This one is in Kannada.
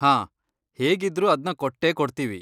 ಹಾಂ, ಹೇಗಿದ್ರೂ ಅದ್ನ ಕೊಟ್ಟೇ ಕೊಡ್ತೀವಿ.